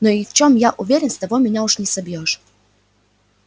но в чём я уверен с того меня уж не собьёшь